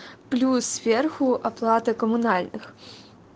плюс сверху оплата коммунальных